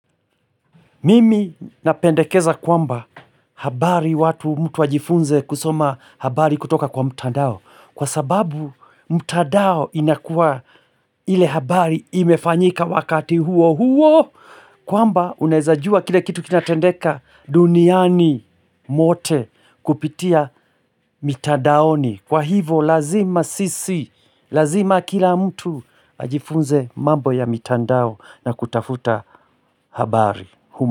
Mimi napendekeza kwamba habari watu mtu ajifunze kusoma habari kutoka kwa mtandao Kwa sababu mtandao inakuwa ile habari imefanyika wakati huo huo kwamba unaezajua kile kitu kinatendeka duniani mote kupitia mitadaoni Kwa hivo lazima sisi, lazima kila mtu ajifunze mambo ya mitandao na kutafuta habari.